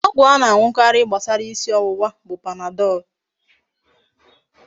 Ọgwụ a na aṅukarị gbasara isi ọwụwa bụ Panadol.